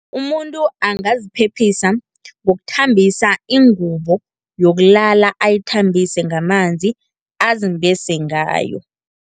Umuntu angaziphephisa ngokuthambisa ingubo yokulala, ayithambise ngamanzi azimbese ngayo.